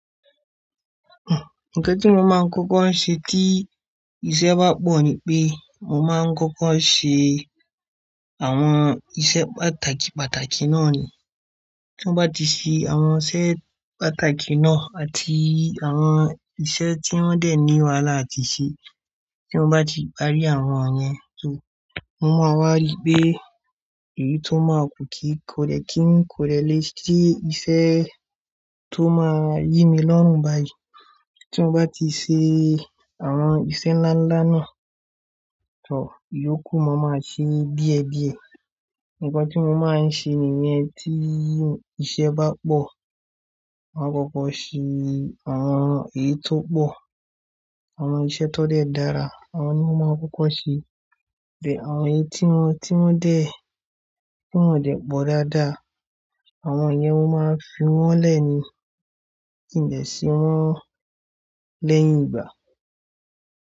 Nǹkan tí mo máa ń kọ́kọ́ ń ṣe tí iṣẹ́ bá pọ̀ ni pé mo máa ń kọ́kọ́ ṣe àwọn iṣẹ́ pàtàkì pàtàkì náà ni. Tí mo bá ti ṣe àwọn iṣẹ́ pàtàkì náà àti àwọn iṣẹ́ tí wọ́n dẹ̀ ní wàhálà ti ṣe, tí mo bá ti parí àwọn yẹn tó, mo máa wá rí pé èyí tó máa ku tó máa yí mi lọ́run bá yi. Tí mo bá ti ṣe àwọn iṣẹ́ ńlá ńlá náà tó, ìyókù mo máa ṣe díẹ̀ díẹ̀. Ǹkan tí mo máa ń ṣe nìyẹn tí iṣẹ́ bá pọ̀, won kọ́kọ́ ṣe àwọn èyí tó pọ̀. Àwọn iṣẹ́ tó dẹ́ dára àwọn ni mo máa ń kọ́kọ́ ṣe. Dẹ̀ àwọn èyí tí wọ́n, tí wọ́n dẹ̀, tí wọ́n dẹ́ pọ̀ dáadáa àwọn yẹn mo máa ń fi wọ́n lẹ̀ ni kí n lè ṣe wọ́n lẹ́yìn ìgbà.